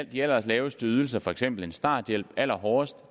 de allerlaveste ydelser for eksempel en starthjælp allerhårdest